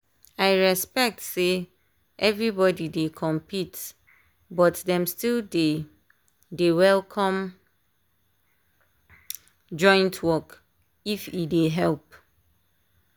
i respect say everybody dey compete but dem still dey dey welcome joint work if e dey help.